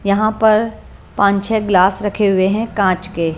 यहां पर पांच छह गिलास रखे हुए हैं कांच के।